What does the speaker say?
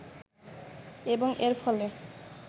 এবং এর ফলে